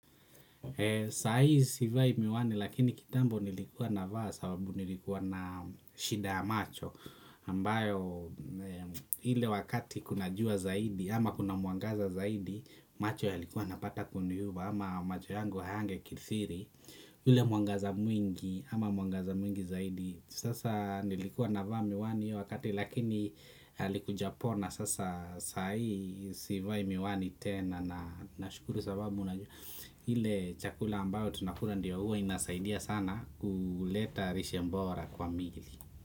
Sa hii sivai miwani lakini kitambo nilikuwa navaa sababu nilikuwa na shida ya macho ambayo ile wakati kuna jua zaidi ama kuna mwangaza zaidi macho yalikuwa yanapata kuniuma ama macho yangu hayangekithiri ile muangaza mwingi ama muangaza mwingi zaidi sasa nilikuwa navaa miwani hiyo wakati lakini yalikuja pona sasa saa hii sivai miwani tena na nashukuru sababu unajua ile chakula ambayo tunakula ndiyo huwa inasaidia sana kuleta lishe bora kwa mili.